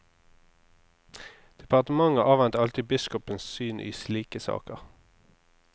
Departementet avventer alltid biskopens syn i slike saker.